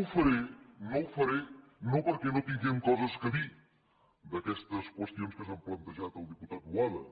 ho faré no ho faré no perquè no tinguem coses a dir d’aquestes qüestions que s’han plantejat al diputat boada